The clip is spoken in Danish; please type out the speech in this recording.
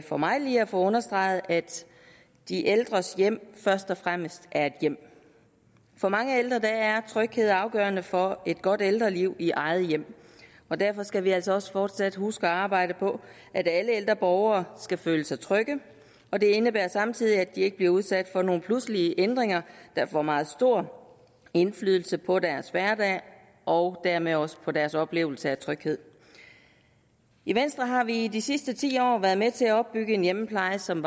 for mig lige at få understreget at de ældres hjem først og fremmest er et hjem for mange ældre er tryghed afgørende for et godt ældreliv i eget hjem og derfor skal vi altså også fortsat huske at arbejde på at alle ældre borgere skal føle sig trygge og det indebærer samtidig at de ikke bliver udsat for nogle pludselige ændringer der får meget stor indflydelse på deres hverdag og dermed også på deres oplevelse af tryghed i venstre har vi i de sidste ti år været med til at opbygge en hjemmepleje som